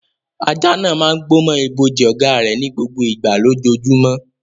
Ajá náà máa ń gbó mọ́ ibojì ọ̀gá rẹ̀ ní gbogbo ìgbà lójoojúmọ́.